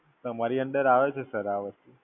તમારી અંડર આવે Sir આ વસ્તુ.